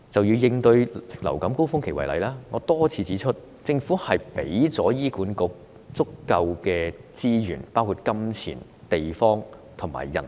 以應對流感高峰期為例，我多次指出，政府要為醫管局提供足夠資源，包括金錢、地方及人力。